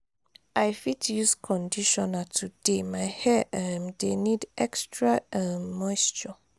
i fit use conditioner today my hair um dey need extra um moisture.